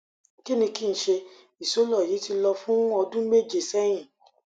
kini kin se isolo yi ti lo fun odun meje sehin